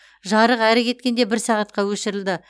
жарық әрі кеткенде бір сағатқа өшірілді